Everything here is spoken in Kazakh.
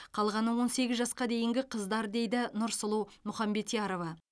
қалғаны он сегіз жасқа дейінгі қыздар дейді нұрсұлу мұхамбетярова